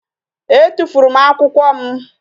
E tụfuru m akwụkwọ m